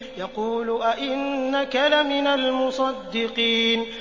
يَقُولُ أَإِنَّكَ لَمِنَ الْمُصَدِّقِينَ